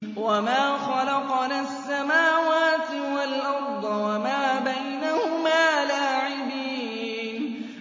وَمَا خَلَقْنَا السَّمَاوَاتِ وَالْأَرْضَ وَمَا بَيْنَهُمَا لَاعِبِينَ